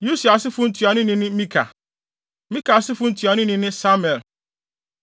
Usiel asefo ntuanoni ne Mika. Mika asefo ntuanoni ne Samir